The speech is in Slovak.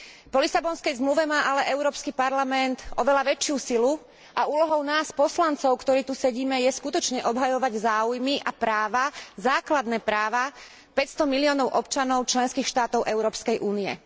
Po Lisabonskej zmluve má ale Európsky parlament oveľa väčšiu silu a úlohou nás poslancov, ktorí tu sedíme, je skutočne obhajovať záujmy a práva, základné práva päťsto miliónov občanov členských štátov Európskej únie.